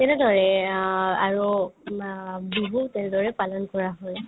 তেনেদৰে অ আৰু কিবা বিহু তেনেদৰে পালন কৰা হয়